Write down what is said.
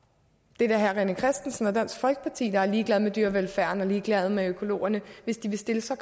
det er da herre rené christensen og dansk folkeparti der er ligeglade med dyrevelfærden og ligeglade med økologerne hvis de vil stille så